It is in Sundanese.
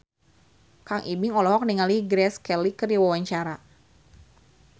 Kang Ibing olohok ningali Grace Kelly keur diwawancara